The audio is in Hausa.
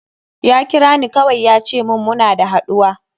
Ya kira ni kawai ya ce mun muna da haɗuwa.